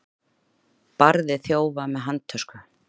Barði þjófa með handtösku